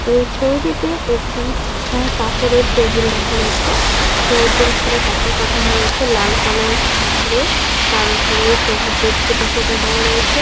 এই ছবিটিতে একটি কাপড়ের টেবিল দেখা যাচ্ছে | টেবিল টির উপরে কাপড় টাঙানো রয়েছে লাল কালার এর | তার ওপরে সবুজের ছিটে ফোটা দেওয়া রয়েছে।